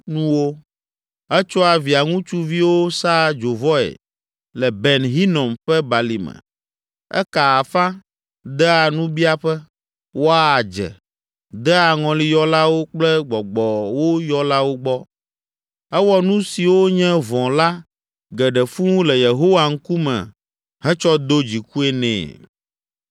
Etsɔa via ŋutsuviwo saa dzovɔe le Ben Hinom ƒe Balime. Ekaa afa, dea nubiaƒe, wɔa adze, dea ŋɔliyɔlawo kple gbɔgbɔwo yɔlawo gbɔ. Ewɔ nu siwo nye vɔ̃ la geɖe fũu le Yehowa ŋkume hetsɔ do dzikue nɛ.